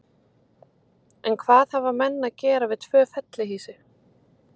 En hvað hafa menn að gera við tvö fellihýsi?